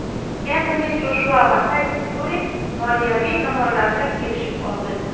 Entoni Joshua va Tayson Fyuri moliyaviy tomonlarni kelishib oldi.